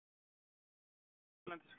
Hefur þú heyrt af áhuga erlendis frá?